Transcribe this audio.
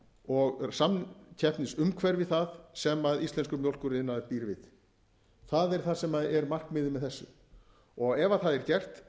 og samkeppnisumhverfi það sem íslenskur mjólkuriðnaður býr við það er það sem er markmiðið með þessu ef það er